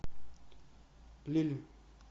лилль